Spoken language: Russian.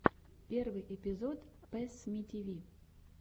первый эпизод пэссмитиви